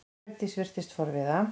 Hjördís virtist forviða.